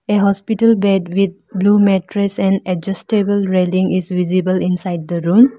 a hospital bed with blue mattress and adjustable railing is visible inside the room.